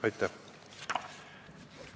Aitäh!